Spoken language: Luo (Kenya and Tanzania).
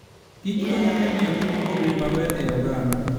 kichkonyo e miyo ngima obed maber e oganda.